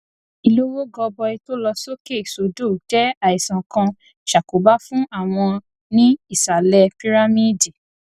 ìlówó gọbọi tó lọ sókè sódò jé àìsàn kan ṣàkóbá fún àwọn ní ìsàlè pírámíìdì